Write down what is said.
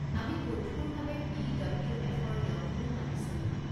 আমি কঠোৰভাৱে B W এফৰ নিয়মসমূহ মানি চলো।